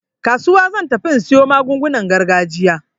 Kasuwa zan tafi in siyo magungunan gargajiya.